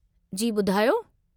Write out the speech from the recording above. जी ॿुधायो।